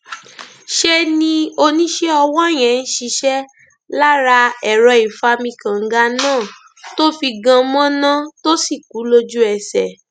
ṣe ni oníṣẹ ọwọ yẹn ń ṣiṣẹ lára ẹrọ ìfami kànga náà tó fi gan mọnà tó sì kú lójúẹsẹ